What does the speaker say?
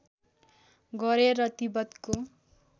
गरे र तिब्बतको